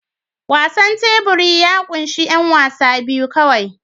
Wasan tebur ya ƙunshi 'yan wasa biyu kawai